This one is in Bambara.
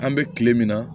An bɛ kile min na